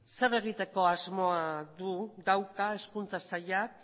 zer egiteko asmoa dauka hezkuntza sailak